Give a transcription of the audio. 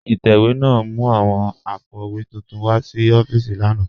Itẹwẹ̀ náà mú awọn àpó̩wé túntún wa sí òfììsì lànà